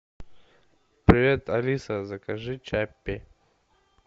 привет алиса закажи чаппи